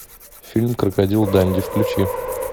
фильм крокодил данди включи